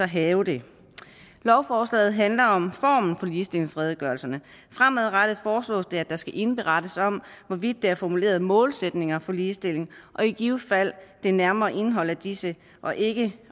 have det lovforslaget handler om formen på ligestillingsredegørelserne fremadrettet foreslås det at der skal indberettes om hvorvidt der er formuleret målsætninger for ligestilling og i givet fald det nærmere indhold af disse og ikke